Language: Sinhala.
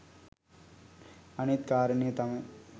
අනෙත් කාරණය තමයි